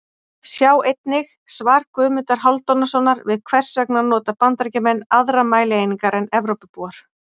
Sjá einnig: Svar Guðmundar Hálfdanarsonar við Hvers vegna nota Bandaríkjamenn aðrar mælieiningar en Evrópubúar?